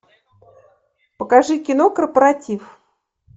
покажи кино корпоратив